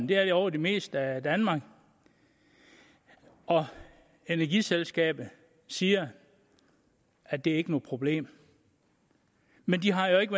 det er de over det meste af danmark og energiselskaberne siger at det ikke er noget problem men de har jo ikke